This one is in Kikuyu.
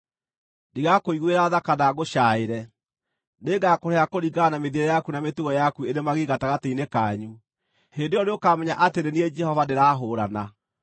Ndigakũiguĩra tha kana ngũcaaĩre; nĩngakũrĩha kũringana na mĩthiĩre yaku na mĩtugo yaku ĩrĩ magigi gatagatĩ-inĩ kanyu. Hĩndĩ ĩyo nĩũkamenya atĩ nĩ niĩ Jehova ndĩrahũũrana.